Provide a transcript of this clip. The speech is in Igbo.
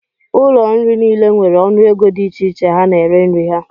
Ụlọ nri niile nwere ọnụego dị iche iche ha na-ere nri ha.